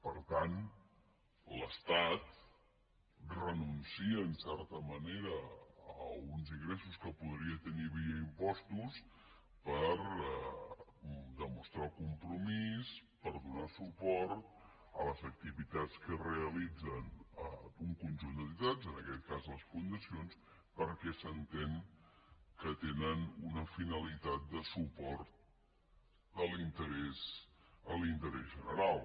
per tant l’estat renuncia en certa manera a uns ingressos que podria tenir via impostos per demostrar el com·promís per donar suport a les activitats que realitzen un conjunt d’entitats en aquest cas les fundacions perquè s’entén que tenen una finalitat de suport a l’in·terès general